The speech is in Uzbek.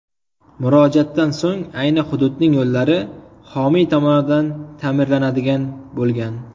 Murojaatdan so‘ng ayni hududning yo‘llari homiy tomonidan ta’mirlanadigan bo‘lgan.